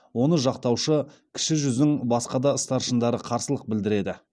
оны жақтаушы кіші жүздің басқа да старшындары қарсылық білдіреді